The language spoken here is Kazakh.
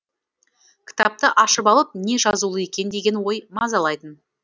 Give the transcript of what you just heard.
кітапты ашып алып не жазулы екен деген ой мазалайтын